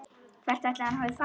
Hvert ætli hann hafi farið?